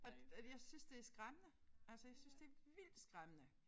Og og det jeg synes det skræmmende altså jeg synes det vildt skræmmende